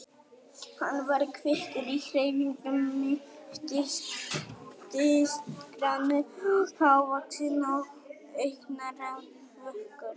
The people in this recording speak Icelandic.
Hann var kvikur í hreyfingum, mittisgrannur og hávaxinn og augnaráðið vökult.